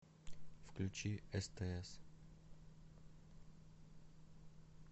включи стс